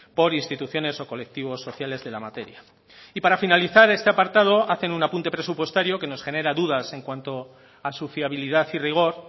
por instituciones o colectivos sociales de la materia y para finalizar este apartado hacen un apunte presupuestario que nos genera dudas en cuanto a su fiabilidad y rigor